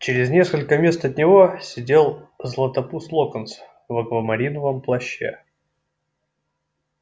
через несколько мест от него сидел златопуст локонс в аквамариновом плаще